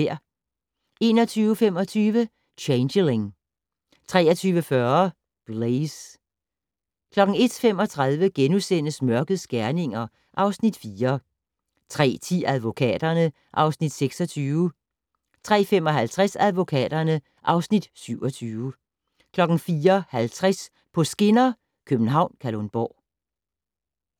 21:25: Changeling 23:40: Blaze 01:35: Mørkets gerninger (Afs. 4)* 03:10: Advokaterne (Afs. 26) 03:55: Advokaterne (Afs. 27) 04:50: På skinner: København-Kalundborg